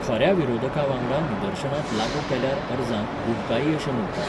खऱ्या विरोधकांवांगडा निदर्शनांत लागू केल्यार अर्जांक बुंकाई अशें म्हण्टात.